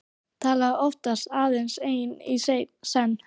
Talaði oftast aðeins einn í senn.